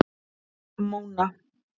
Móna